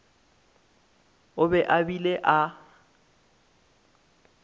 o be a bile a